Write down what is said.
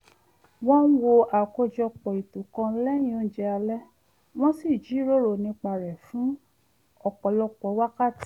wọ́n wo àkójọpò ètò kan lẹ́yìn oúnjẹ alẹ́ wọ́n sì jíròrò nípa rẹ̀ fún ọ̀pọ̀lọpọ̀ wákàtí